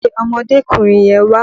Pe ọmọdékùnrin yẹn wá!